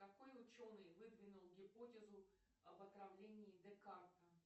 какой ученый выдвинул гипотезу об отравлении декарта